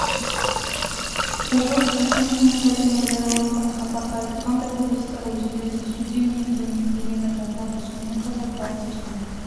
облыс әкімшілігінің сайтында жарияланған хабарда айтылғандай облыстағы өзендерде су деңгейінің төмендегені байқалады сонымен қатар басты су